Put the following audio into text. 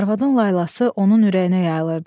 Arvadın laylası onun ürəyinə yayılırdı.